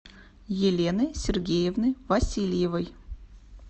елены сергеевны васильевой